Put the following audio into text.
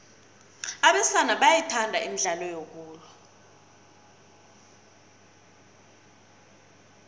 abesana bathanda imidlalo yokulwa